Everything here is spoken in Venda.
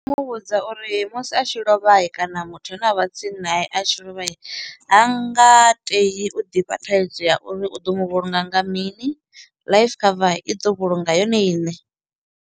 Mu vhudza uri musi a tshi lovha kana muthu ane a vha tsini naye a tshi lovha ha nga tei u ḓifha thaidzo ya uri u ḓo mu vhulunga nga mini life cover i ḓo vhulunga yone iṋe.